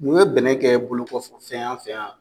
Mun ye bɛnɛ kɛ bolokɔfɛ fɛn y'an fɛ yan